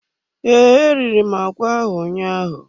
Ee, eriri m agwa ahụ ụnyaahụ.